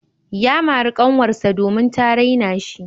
Ya mari kanwarsa domin ta raina shi.